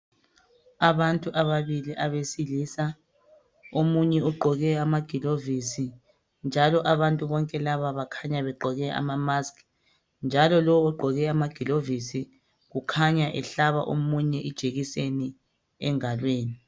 Abantu ababili abesilisa omunye ugqoke amagilovisi njalo abantu bonke laba bakhanya begqoke amamask njalo lobogqoke amagilovisi ukhanya ehlaba omunye ijekiseni engalweni